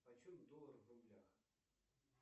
почем доллар в рублях